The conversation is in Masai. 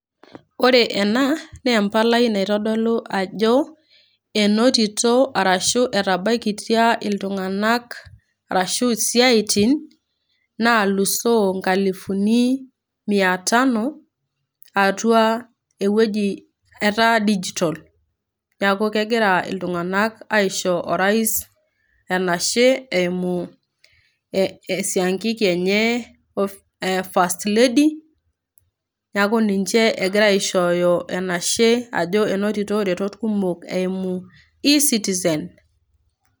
Ore ena naa empalai naitodolu ajo enotita arashu etabaika iltung'ana arashu isiaitin nalusoo inkalusuni mia tano atua ewueji etaa digitol. Neakukegira iltung'ana aisho orais enashe eimu esiankiki enye e first lady neaku ninche egira aishooyo enashe ajo enotita iretot kumok eimu eCitizen.